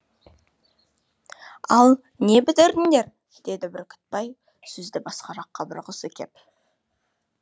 ал не бітірдіңдер деді бүркітбай сөзді басқа жаққа бұрғысы кеп